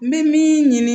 N bɛ min ɲini